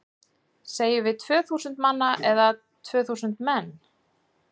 Segjum við tvö þúsund manna eða tvö þúsund menn?